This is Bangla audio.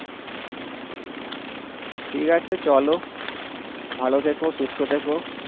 ঠিক আছে চলো ভালো থেকো সুস্থ থেকো।